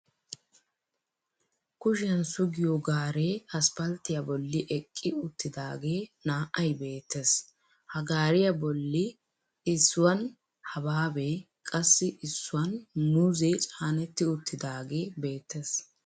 Kushiyan sugiyo gaaree aspalttiya bolli eqqi uttidaagee naa"ay beettees. Ha gaariya bolli issuwan habaabee qassi issuwan muuzee caanetti uttidaagee beettees.